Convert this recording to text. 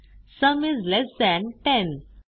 sum is less than 10